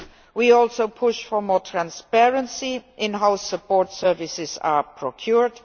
We are also pushing for more transparency in how support services are procured.